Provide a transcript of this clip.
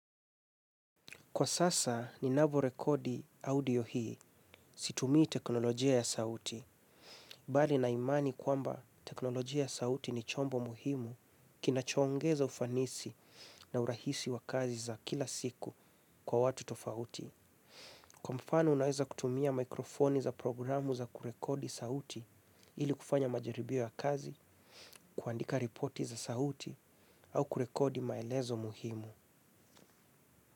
Kwa sasa, ninavyo rekodi audio hii. Situmii teknolojia ya sauti. Bali nina imani kwamba teknolojia sauti ni chombo muhimu kinachoongeza ufanisi na urahisi wa kazi za kila siku kwa watu tofauti. Kwa mfano, unaweza kutumia mikrofoni za programu za kurekodi sauti ili kufanya majaribio ya kazi, kuandika ripoti za sauti au kurekodi maelezo muhimu.